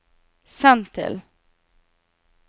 send til